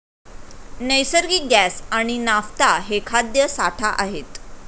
नैसर्गिक गॅस आणि नाफ्था हे खाद्य साठा आहेत.